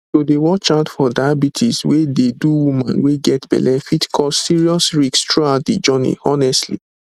to dey watch out for diabetes wey dey do woman wey get belle fit cause serious risks throughout de journey honestly